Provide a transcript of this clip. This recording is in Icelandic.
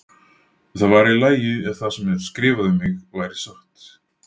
Það væri í lagi ef það sem er skrifað um mig væri satt.